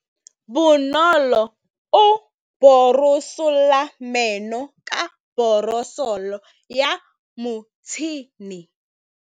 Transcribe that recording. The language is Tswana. Bonolô o borosola meno ka borosolo ya motšhine.